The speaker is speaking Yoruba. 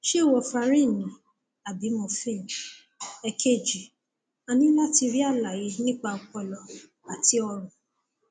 ṣé warfarin ni àbí morphine èkejì a ní láti rí àlàyé nípa ọpọlọ àti ọrùn